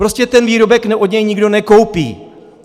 Prostě ten výrobek od něj nikdo nekoupí!